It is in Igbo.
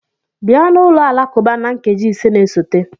Bịa n'ụlọ alakụba na nkeji ise na-esote!